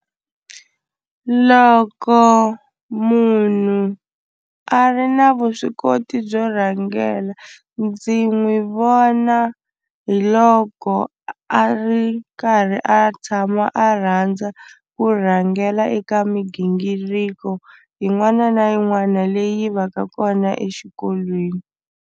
Loko munhu a ri na vuswikoti byo rhangela ndzi n'wi vona hi loko a ri karhi a tshama a rhandza ku rhangela eka migingiriko yin'wana na yin'wana leyi va ka kona exikolweni.